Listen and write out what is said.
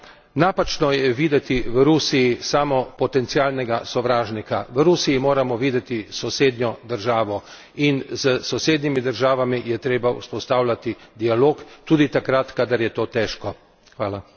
In nazadnje, ker me čas prehiteva, napačno je videti v Rusiji samo potencialnega sovražnika, v Rusiji moramo videti sosednjo državo, in s sosednjimi državami je treba vzpostavljati dialog, tudi takrat, kadar je to težko.